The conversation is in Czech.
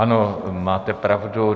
Ano, máte pravdu.